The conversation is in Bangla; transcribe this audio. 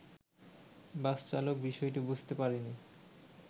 বাসচালক বিষয়টি বুঝতে পারেনি